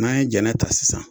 N'an ye jɛnɛ ta sisan